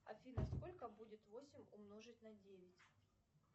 афина сколько будет восемь умножить на девять